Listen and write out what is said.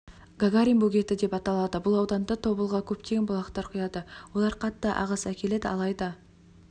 гагарин бөгеті деп аталады бұл ауданда тобылға көптеген бұлақтар құяды олар қатты ағыс әкеледі алайды